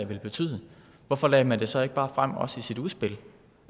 ville betyde hvorfor lagde man så ikke bare frem også i sit udspil